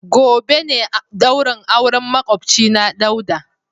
Gobe ne daurin auren makwabcina Dauda.